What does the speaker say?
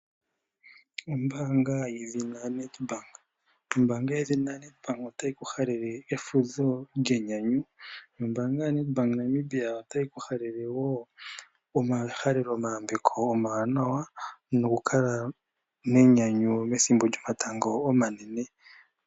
Ombaanga yedhina NetBank. Ombaanga yedhina NetBank otayi ku halele efudho lyenyanyu. Ombaanga yoNetBank yaNamibia otayi ku halele wo omahaleloyambeko omawanawa nokukala menyanyu methimbo lyomatango omanene.